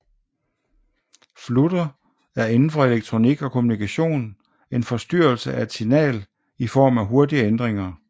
Flutter er inden for elektronik og kommunikation en forstyrrelse af et signal i form af hurtige ændringer